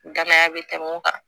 Danaya be tɛmɛ mun kan